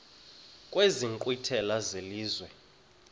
kwezi nkqwithela zelizwe